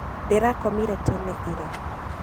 Ndĩrakomĩre tene ira.